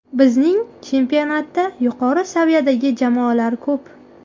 Bizning chempionatda yuqori saviyadagi jamoalar ko‘p.